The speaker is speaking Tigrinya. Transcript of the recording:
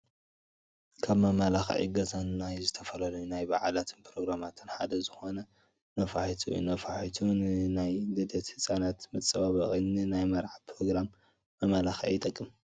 ካብ መመላኽዒ ገዛን ናይ ዝተፈላለዩ ናይ በዓላትን ኘሮግራማትን ሓደ ዝኾነ ነፋሒቶ እዩ፡፡ ነፋሒቶ ንናይ ልደት ህፃናት መፀባበቒ፣ ንናይ መርዓ ኘሮግራም መመላኽዒ ይጠቅም፡፡